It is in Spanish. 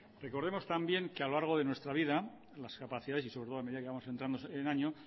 recordemos también que a lo largo de nuestra vida las capacidades y sobre todo a medida que vamos entrando en años